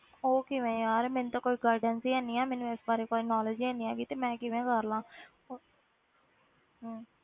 ਉਹ ਕਿਵੇਂ ਯਾਰ, ਮੈਨੂੰ ਤਾਂ ਕੋਈ guidance ਹੀ ਹੈ ਨੀ ਹੈ, ਮੈਨੂੰ ਇਸ ਬਾਰੇ ਕੋਈ knowledge ਹੀ ਨੀ ਹੈਗੀ, ਤੇ ਮੈਂ ਕਿਵੇਂ ਕਰ ਲਵਾਂ ਹੋਰ ਹਮ